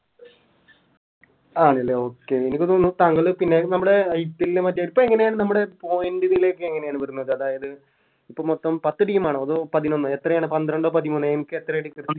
ആണല്ലേ Okay എനിക്ക് തോന്നുന്നു താങ്കള് പിന്നെ നമ്മുടെ IPL മറ്റേ ഇപ്പൊ എങ്ങനെയാണ് നമ്മുടെ Point നിലയൊക്കെ എങ്ങനെയാണ് വരുന്നത് അതായത് ഇപ്പോ മൊത്തം പത്ത് Team ആണോ അതോ പതിനൊന്നോഎത്രയാണ് പന്ത്രണ്ടോ പതിമൂന്നോ എൻക്ക് എത്രയാ